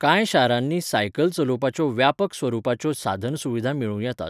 कांय शारांनी सायकल चलोवपाच्यो व्यापक स्वरुपाच्यो साधनसुविधा मेळूं येतात.